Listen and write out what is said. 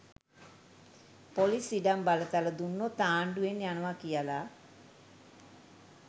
Police ඉඩම් බලතල දුන්නොත් ආණ්ඩුවෙන් යනවා කියලා.